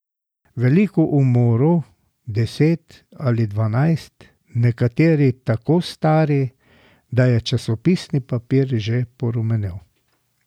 Veliko umorov, deset ali dvanajst, nekateri tako stari, da je časopisni papir že porumenel.